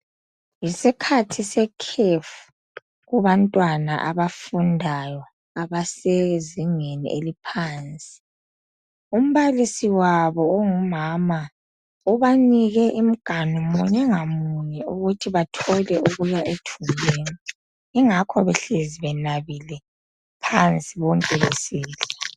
Yisikhathi sekhefu kubantwana abafundayo abasezingeni eliphansi. Umbalisi wabo ongumama ubanike imiganu munye ngamunye ukuthi bathole okuya ethunjini ingakho behlezi benabile phansi bonke besidla.